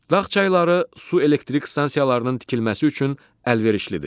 Dağ çayları su elektrik stansiyalarının tikilməsi üçün əlverişlidir.